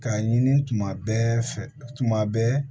K'a ɲini tuma bɛɛ fɛ tuma bɛɛ